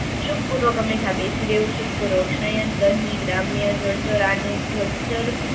સુખ પૂર્વક હંમેશા બેસી રહેવું, સુખ પૂર્વક શયન, દહીં, ગ્રામ્ય જળચર રણુંપ જળચર